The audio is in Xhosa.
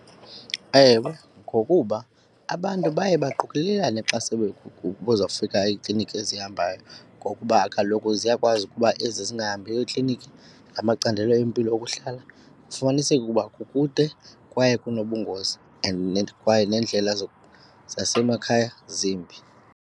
Ewe, ngokuba abantu baye baqokolelane xa sele kuzawufika iikliniki ezihambayo ngokuba kaloku ziyakwazi ukuba ezi zingahambiyo ekliniki namacandelo empilo okuhlala kufumaniseke ukuba kukude kwaye kunobungozi and kwaye nendlela zasemakhaya zimbi.